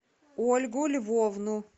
ольгу львовну